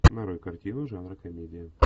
нарой картину жанра комедия